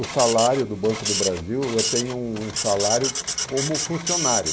O salário do Banco do Brasil, eu tenho um um salário como funcionário.